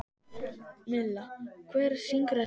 Milla, hver syngur þetta lag?